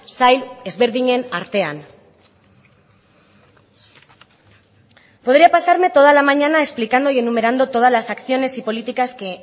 sail ezberdinen artean podría pasarme toda la mañana explicando y enumerando todas las acciones y políticas que